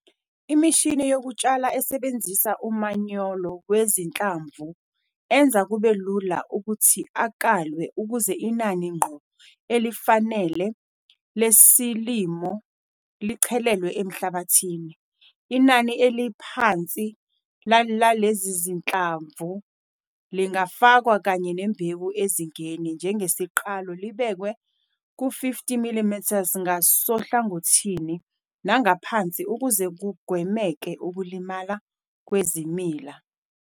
Imishini yokutshala esebenzisa umanyolo wezinhlamvu enza kube lula ukuthi akalwe ukuze inani ngqo elifanele lesilimo lichelelwa emhlabathini. Inani eliphansi lalezi zinhlamvu lingafakwa kanye nembewu ezingeni "njengesiqalo" libekwe ku-50mm ngasohlangothini nangaphansi ukuze kugwemeke ukulimala kwezimila.